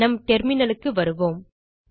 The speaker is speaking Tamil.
நம் terminalக்கு வருவோம்